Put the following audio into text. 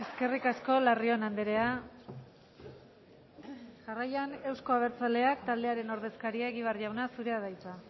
eskerrik asko larrion andrea jarraian euzko abertzaleak taldearen ordezkaria egibar jauna zurea da hitza